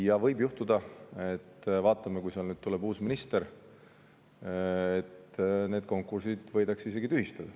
Ja võib juhtuda – vaatame, mis saab, kui tuleb uus minister –, et need konkursid võidakse isegi tühistada.